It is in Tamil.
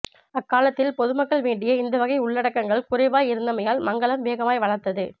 அக்காலத்தில் பொதுமக்கள் வேண்டிய இந்த வகை உள்ளடக்கங்கள் குறைவாய் இருந்தமையால் மங்களம் வேகமாய வளர்ந்தது